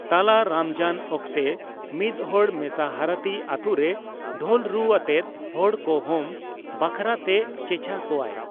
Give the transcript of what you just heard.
ᱛᱟᱞᱟ ᱨᱚᱢᱡᱟᱱ ᱚᱠᱛᱮ, ᱢᱤᱫᱦᱚᱲ ᱢᱮᱥᱟᱦᱟᱨᱟᱛᱤ ᱟᱛᱳ ᱨᱮ ᱰᱷᱳᱞ ᱨᱩ ᱟᱛᱮᱜ ᱦᱚᱲ ᱠᱚ ᱦᱚᱢ ᱵᱟᱠᱷᱟᱨᱟ ᱛᱮ ᱪᱮᱪᱷᱟ ᱠᱚᱣᱟᱭ ᱾